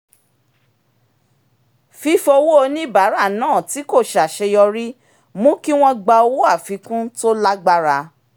fífowó oníbàárà náà tí kò ṣàṣeyọrí mú kí wọ́n gba owó àfikún tó lágbára